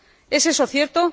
¿Es eso cierto?